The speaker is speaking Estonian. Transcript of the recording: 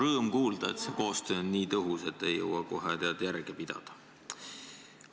Rõõm kuulda, et see koostöö on nii tõhus, et ei jõua kohe järge pidada.